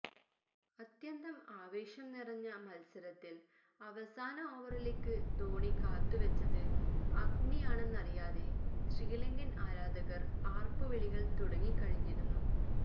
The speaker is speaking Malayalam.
അത്യന്തം ആവേശം നിറഞ്ഞ മത്സരത്തില് അവസാന ഓവറിലേക്ക് ധോണി കാത്തുവെച്ചത് അഗ്നിയാണെന്നറിയാതെ ശ്രീലങ്കന് ആരാധകര് ആര്പ്പുവിളികള് തുടങ്ങിക്കഴിഞ്ഞിരുന്നു